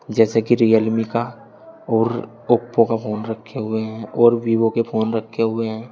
जैसे की रियलमी का और ओप्पो का फोन रखे हुए हैं और वीवो के फोन रखे हुए हैं।